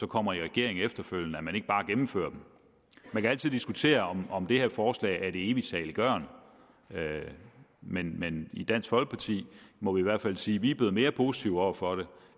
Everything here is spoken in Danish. kommer i regering efterfølgende ikke bare gennemfører dem man kan altid diskutere om om det her forslag er evigt saliggørende men men i dansk folkeparti må vi i hvert fald sige at vi er blevet mere positive over for det